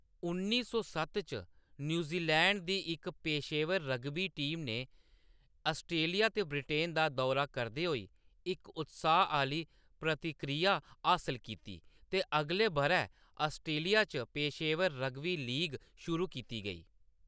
उन्नी सौ सत्त च, न्यूज़ीलैंड दी इक पेशेवर रग्बी टीम ने ऑस्ट्रेलिया ते ब्रिटेन दा दौरा करदे होई इक उत्साह्‌‌ आह्‌‌ली प्रतिक्रिया हासल कीती, ते अगले बʼरै ऑस्ट्रेलिया च पेशेवर रग्बी लीग शुरू कीती गेई।